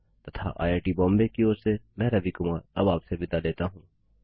तथा आईआईटी बॉम्बे की ओर से मैं रवि कुमार अब आपसे विदा लेता हूँ